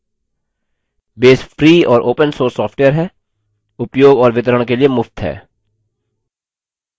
base free और open source software है उपयोग और वितरण के लिए मुफ्त है